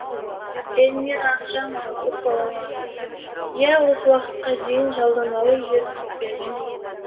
эльмира ақжанова көпбалалы ана иә осы уақытқа дейін жалдамалы үйде тұрып келгенбіз